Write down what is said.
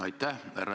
Aitäh!